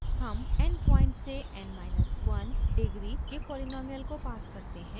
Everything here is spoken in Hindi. हम n पॉइंट्स से n – 1 डिग्री के पॉलीनॉमिअल को पास करते हैं